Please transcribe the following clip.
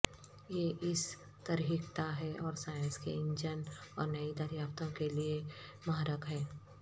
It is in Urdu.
یہ اس ترکہیتا ہے اور سائنس کے انجن اور نئی دریافتوں کے لئے محرک ہے